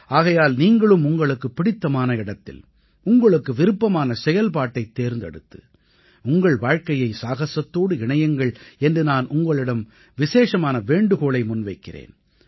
ஆகையால் நீங்களும் உங்களுக்குப் பிடித்தமான இடத்தில் உங்களுக்கு விருப்பமான செயல்பாட்டைத் தேர்ந்தெடுத்து உங்கள் வாழ்க்கையை சாகஸத்தோடு இணையுங்கள் என்று நான் உங்களிடம் விசேஷமான வேண்டுகோளை முன்வைக்கிறேன்